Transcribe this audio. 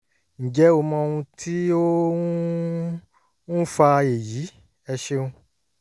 ǹjẹ́ o mọ ohun tí ó ń ń fa èyí? ẹ ṣeun